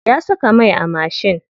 Ya saka mai a mashin.